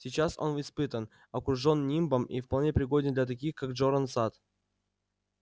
сейчас он испытан окружен нимбом и вполне пригоден для таких как джоран сатт